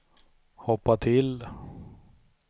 hoppa till